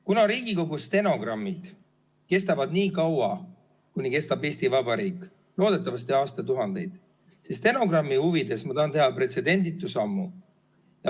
Kuna Riigikogu stenogrammid kestavad niikaua, kuni kestab Eesti Vabariik, loodetavasti aastatuhandeid, siis stenogrammi huvides ma tahan teha pretsedenditu sammu.